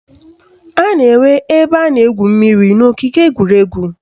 A na-enwe ebe a na-egwu mmiri n'ogige egwuregwu